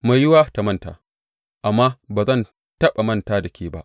Mai yiwuwa ta manta, amma ba zan taɓa manta da ke ba!